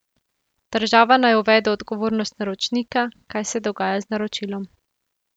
Država naj uvede odgovornost naročnika, kaj se dogaja z naročilom.